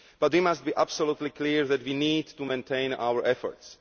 But we must be absolutely clear that we need to maintain our efforts.